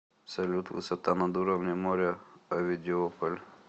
салют высота над уровнем моря овидиополь